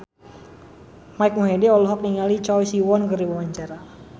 Mike Mohede olohok ningali Choi Siwon keur diwawancara